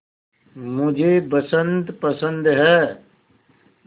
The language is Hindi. मुझे बसंत पसंद है